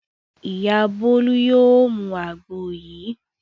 Ìyá Bólú yóò mu àgbo yìí.